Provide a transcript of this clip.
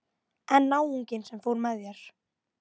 En náunginn sem fór með þér?